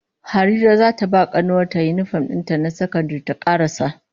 Harira zata ba kanuwar yinifom din ta na sakandare ta karasa